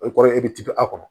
O kɔrɔ ye i bɛ tibi a kɔnɔ